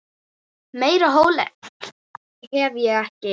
Meira hól hef ég ekki.